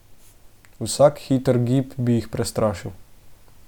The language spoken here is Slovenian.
Vsak hiter gib bi jih prestrašil.